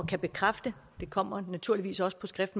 kan bekræfte det kommer naturligvis også på skrift